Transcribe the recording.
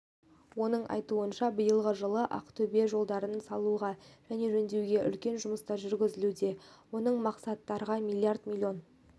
оның айтуынша биылғы жылы ақтөбеде жолдарды салуға және жөндеуге үлкен жұмыстар жүргізілуде осы мақсаттарға миллиард миллион